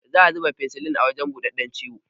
Za a ziba finsilin a wajan buɗaɗɗan ciwon